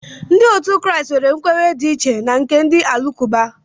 Ndị Kraịst nwere nkwenye dị iche na nke ndị Alakụba